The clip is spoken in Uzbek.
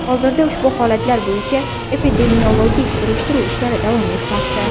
Hozirda ushbu holatlar bo‘yicha epidemiologik surishtiruv ishlari davom etmoqda.